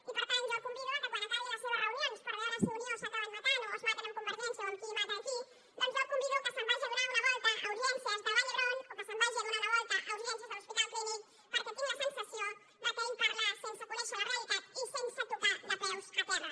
i per tant jo el convido que quan acabi les seves reunions per veure si a unió s’acaben matant o es maten amb convergència o qui mata qui jo el convido que se’n vagi a donar una volta a urgències del vall d’hebron o que se’n vagi a donar una volta a urgències de l’hospital clínic perquè tinc la sensació que ell parla sense conèixer la realitat i sense tocar de peus a terra